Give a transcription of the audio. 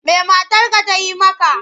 Me matarka ta yi maka?